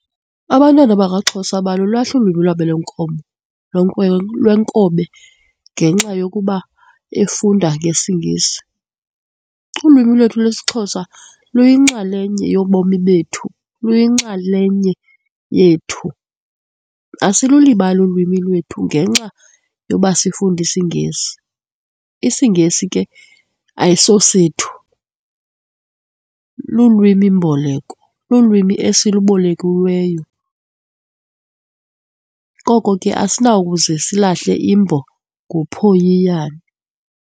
Abantwana bakwaXhosa abalulahli ulwimi lwabo lwenkomo, lwenkobe ngenxa yokuba efunda ngesiNgesi. Ulwimi lwethu lesiXhosa luyinxalenye yobomi bethu, luyinxalenye yethu, asilulibali ulwimi lwethu ngenxa yoba sifunda isiNgesi. IsiNgesi ke ayisosethu, lulwimi-mboleko, lulwimi esilubolekiweyo. Koko ke asinawukuze silahle imbo ngophoyiyana.